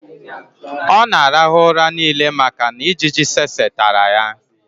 ọ na-arahụ ụra niile maka na ijiji tsetse tara ya